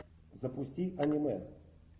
запусти аниме